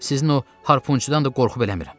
Sizin o harpunçudan da qorxub eləmirəm.